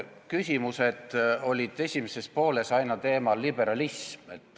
Küsimused olid esimeses pooles aina liberalismi teemal.